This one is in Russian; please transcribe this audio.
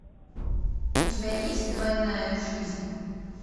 у тебя есть двойная жизнь